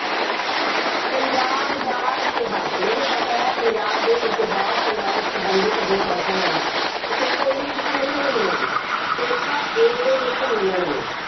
ਪੰਜਾਬ ਦਾ ਇਤਿਹਾਸ- ਮੈਨੂੰ ਪਤਾ ਹੈ, ਪੰਜਾਬ ਦੇ ਇਤਿਹਾਸ ਨਾਲ ਸੰਬੰਧਿਤ ਜੋ ਪ੍ਰਸ਼ਨ ਹੈ ਨਾ, ਉਹ paper A ਦੇ ਵਿੱਚ ਤਾਂ ਮਿਲਣਗੇ ਮਿਲਣਗੇ। paper A ਦੇ ਵਿੱਚ ਮਿਲਣਗੇ।